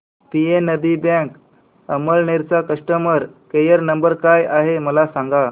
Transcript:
PNB bank Amalner चा customer care number काय आहे मला सांगा